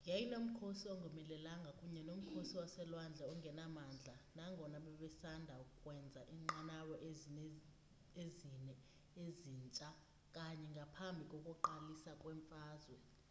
yayinomkhosi ongomelelanga kunye nomkhosi waselwandle ongenamandla nangona babesanda ukwenza iinqanawa ezine ezintsha kanye ngaphambi kokuqalisa kwemfazwe